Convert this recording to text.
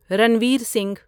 Ranveer Singh